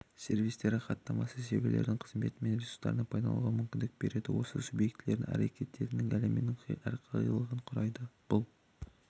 сервистері хаттамасы серверлердің қызметі мен ресурстарына пайдалануға мүмкіндік береді осы объектілердің әрекеттестігі әлемінің әрқилылығын құрайды бұл